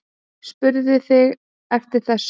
Spurðuð þið eftir þessu?